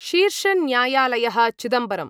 शीर्षन्यायालयः Chidambaram